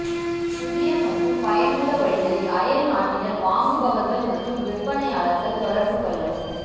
புதிய மற்றும் பயனுள்ள வழிகளில் அயல்நாட்டினர் வாங்குபவர்கள் மற்றும் விற்பனையாளர்கள் தொடர்பு கொள்ளவும்